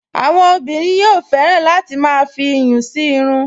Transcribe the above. Àwọn obìnrin yóò fẹ́ràn láti máa fi iyùn sí irun